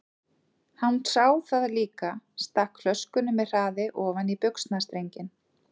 Hann sá það líka, stakk flöskunni með hraði ofan í buxnastrenginn.